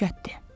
Dəhşətdir.